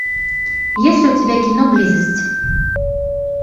есть ли у тебя кино близость